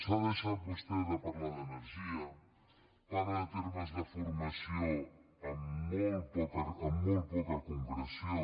s’ha deixat vostè de parlar d’energia parla de termes de formació amb molt poca concreció